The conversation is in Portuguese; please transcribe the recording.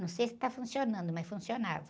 Não sei se está funcionando, mas funcionava.